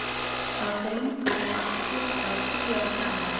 Það var drengur á að giska tíu ára gamall.